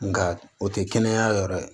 Nga o tɛ kɛnɛya yɔrɔ ye